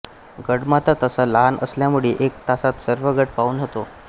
गडमाथा तसा लहान असल्यामुळे एक तासात सर्व गड पाहून होतो